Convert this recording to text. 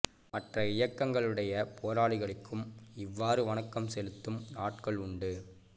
மற்ற இயக்கங்களுடைய போராளிகளுக்கும் இவ்வாறு வணக்கம் செலுத்தும் நாட்கள் உண்டு